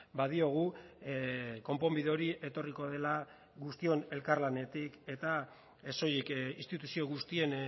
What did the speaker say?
badiogu konponbide hori etorriko dela guztion elkarlanetik eta ez soilik instituzio guztien